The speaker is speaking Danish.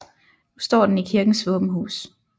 Nu står den i kirkens våbenhus